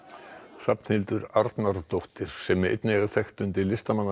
Hrafnhildur Arnardóttir sem er einnig þekkt undir listamannsnafninu